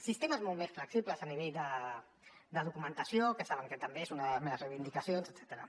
sistemes molt més flexibles a nivell de documentació que saben que també és una de les meves reivindicacions etcètera